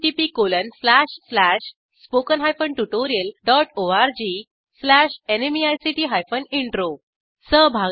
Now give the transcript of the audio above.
httpspoken tutorialorg nmeict intro ह्या ट्युटोरियलचे भाषांतर पुरुशोतम यांनी केले असून मी रंजना भांबळे आपला निरोप घेते160